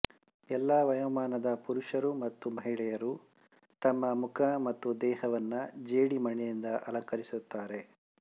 ಎಲ್ಲ ವಯೋಮಾನದ ಪುರುಷರು ಮತ್ತು ಮಹಿಳೆಯರು ತಮ್ಮ ಮುಖ ಮತ್ತು ದೇಹವನ್ನು ಜೇಡಿಮಣ್ಣಿನಿಂದ ಅಲಂಕರಿಸುತ್ತಾರೆ